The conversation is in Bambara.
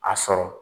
A sɔrɔ